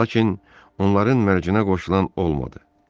Lakin onların mərcinə qoşulan olmadı.